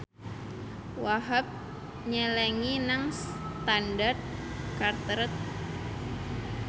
Wahhab nyelengi nang Standard Chartered